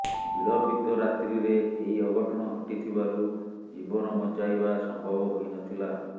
ବିଳମ୍ବିତ ରାତ୍ରିରେ ଏହି ଅଘଟଣ ଘଟିଥିବାରୁ ଜୀବନ ବଞ୍ଚାଇବା ସମ୍ଭବ ହୋଇନଥିଲା